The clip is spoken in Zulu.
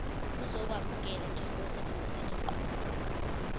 uzokwamukelwa njengosebenzisa lenqubo